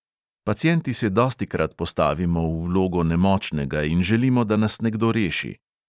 Pacienti se dostikrat postavimo v vlogo nemočnega in želimo, da nas nekdo reši.